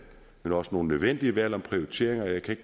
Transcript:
men også nogle nødvendige valg om prioriteringer og jeg kan